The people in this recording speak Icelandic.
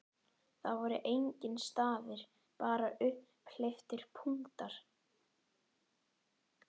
Það voru engir stafir, bara upphleyptir punktar!